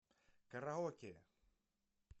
караоке